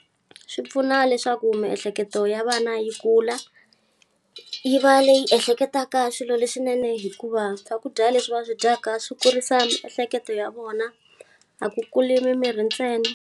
Swi pfuna leswaku miehleketo ya vana yi kula. Yi va leyi ehleketaka swilo leswinene hikuva swakudya leswi va swi dyaka swi kurisa miehleketo ya vona, a ku kuli mimiri ntsena.